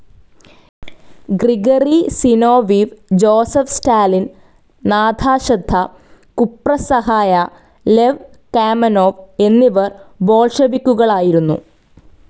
Gregory Zinoviev, Joseph Stalin, Nadezhda കുപ്രസഹായ, Lev Kamenev എന്നിവർ ബോൾഷെവിക്കുകളായിരുന്നു.